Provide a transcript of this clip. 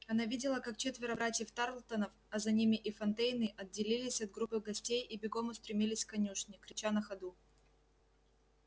она видела как четверо братьев тарлтонов а за ними и фонтейны отделились от группы гостей и бегом устремились к конюшне крича на ходу